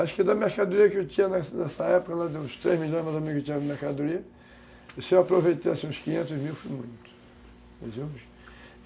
Acho que da mercadoria que eu tinha nessa nessa época, uns três milhões mais ou menos que eu tinha na mercadoria, se eu aproveitasse uns quinhentos mil, foi muito.